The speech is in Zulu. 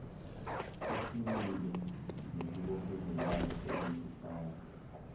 esimile nesibophezelayo sebenzisana